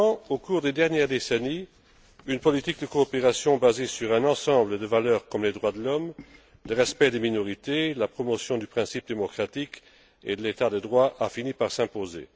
Au cours des dernières décennies, une politique de coopération, basée sur un ensemble de valeurs comme les droits de l'homme, le respect des minorités, la promotion du principe démocratique et de l'état de droit, a fini par s'imposer.